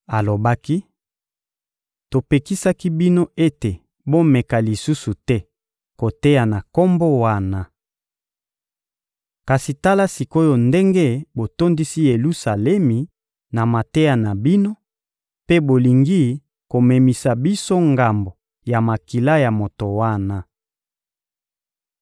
Alobaki: — Topekisaki bino ete bomeka lisusu te koteya na Kombo wana. Kasi tala sik’oyo ndenge botondisi Yelusalemi na mateya na bino mpe bolingi komemisa biso ngambo ya makila ya moto wana.